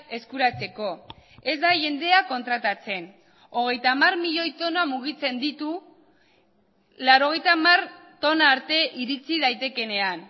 eskuratzeko ez da jendea kontratatzen hogeita hamar milioi tona mugitzen ditu laurogeita hamar tona arte iritsi daitekeenean